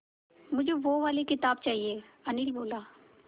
मुझे वो वाली किताब चाहिए अनिल बोला